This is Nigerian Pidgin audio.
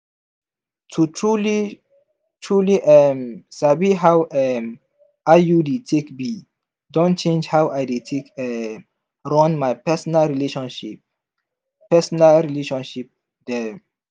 to truly-truly um sabi how um iud take be don change how i dey take um run my personal relationship personal relationship dem.